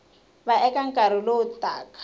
va eka nkarhi lowu taka